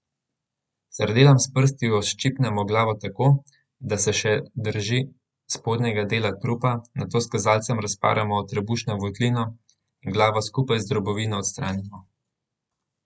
Sardelam s prsti odščipnemo glavo tako, da se še drži spodnjega dela trupa, nato s kazalcem razparamo trebušno votlino in glavo skupaj z drobovino odstranimo.